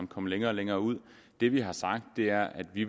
kom længere og længere ud det vi har sagt er at vi